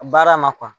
Baara ma